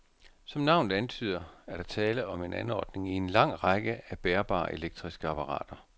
Som navnet antyder, er der tale om en anordning i en lang række af bærbare elektriske apparater.